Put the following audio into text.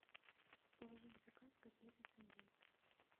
положи в заказ котлеты с индейкой